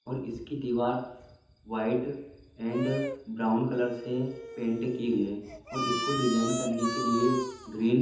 और इसकी दीवार व्हाइट अँड ब्राउन कलर से पेंट की गई है और इसको डिज़ाइन करने के लिए ग्रीन --